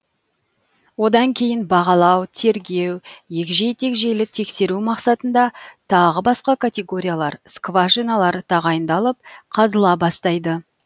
одан кейін бағалау тергеу егжей тегжейлі тексеру мақсатында тағы басқа категориялар скважиналар тағайындалып қазыла бастайды